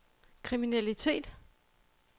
kriminalitet